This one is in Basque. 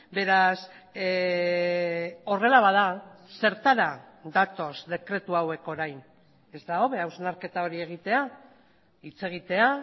beraz horrela bada zertara datoz dekretu hauek orain ez da hobe hausnarketa hori egitea hitz egitea